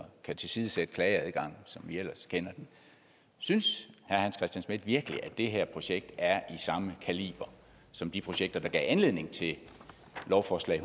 kan tilsidesætte klageadgangen som vi ellers kender den synes herre hans christian schmidt virkelig at det her projekt er i samme kaliber som de projekter der gav anledning til lovforslag